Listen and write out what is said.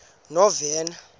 novena